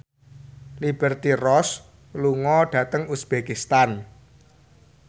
Liberty Ross lunga dhateng uzbekistan